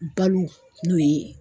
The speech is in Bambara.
Balo n'o ye